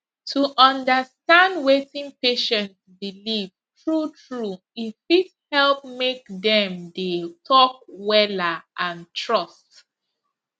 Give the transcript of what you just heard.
to understand wetin patient believe true true e fit help make dem dey talk wella and trust